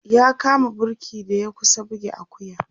ya kama burki da ya kusa buge Akuya